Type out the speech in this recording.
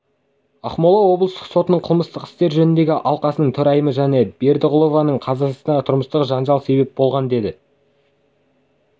ақмола облыстық сотының қылмыстық істер жөніндегі алқасының төрайымы жанна бердіғұлованың қазасына тұрмыстық жанжал себеп болған деп